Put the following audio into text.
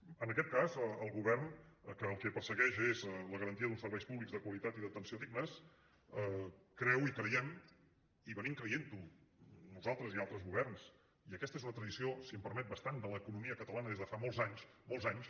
en aquest cas el govern que el que persegueix és la garantia d’uns serveis públics de qualitat i d’atenció dignes creu i creiem i venim creient ho nosaltres i altres governs i aquesta és una tradició si m’ho permet bastant de l’economia catalana des de fa molts anys molts anys